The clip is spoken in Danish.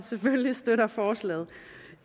støtter forslaget